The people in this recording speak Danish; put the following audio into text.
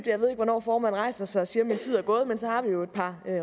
jeg ved ikke hvornår formanden rejser sig og siger at min tid er gået men så har vi jo et par